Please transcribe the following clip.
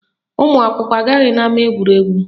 Ụmụakwụkwọ agaghị n'ama egwuregwu